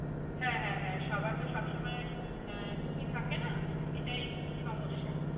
হ্যাঁ হ্যাঁ হ্যাঁ সবার তো সব সময়ে আহ ছুটি থাকে না এটাই খুব সমস্যা